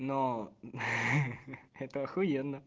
но это ахуенно